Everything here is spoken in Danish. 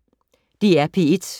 DR P1